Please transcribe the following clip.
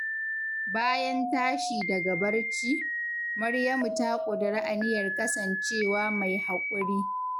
Bayan tashi daga barci, Maryamu ta ƙudiri aniyar kasancewa mai haƙuri.